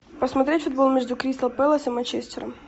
посмотреть футбол между кристал пэлас и манчестером